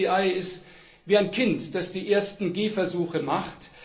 Die ECI ist wie ein Kind, das die ersten Gehversuche macht.